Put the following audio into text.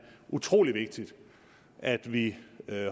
utrolig vigtigt at vi